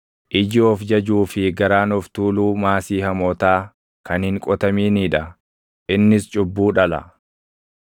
Iji of jajuu fi garaan of tuuluu maasii hamootaa kan hin qotaminii dha; // innis cubbuu dhala.